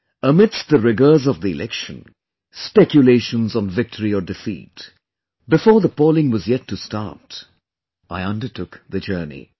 Amidst the rigours of the Election, speculations on victory or defeat, before the polling was yet to start; I undertook the journey